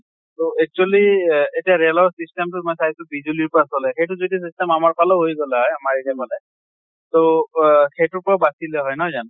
ত actually এহ এতিয়া ৰেলৰ system টো মই চাইছো বিজুলীৰ পৰা চলে। সেইটো যদি system আমাৰ ফালেও হৈ গʼলে হৈ আমাৰ area ত মানে তʼ অহ সেইটোৰ পৰা বাচিলে হয়,